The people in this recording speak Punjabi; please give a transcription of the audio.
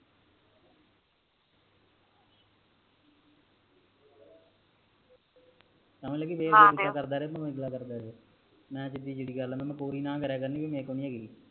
ਸਮਝ ਲੱਗੀ ਨਾ ਦਯੋ ਮੈ ਸਿਦੀ ਸਿਦੀ ਜੀ ਗੱਲ ਆ ਮੈ ਕੋਰੀ ਨਾ ਕਰਯਾ ਕਰਨੀ ਏ ਵੀ ਮੇਰੇ ਕੋਲ ਨੀ ਹੈਗੀ